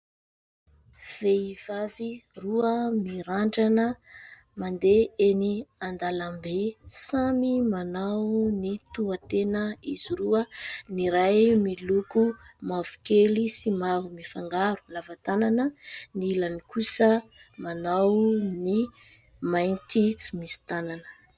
Vehivavy roa mirandrana, mandeha eny an-dalambe. Samy manao ny tohitena izy roa ; ny iray miloko mavokely sy mavo mifangaro, lava tanana ; ny ilany kosa manao ny mainty tsy misy tanana.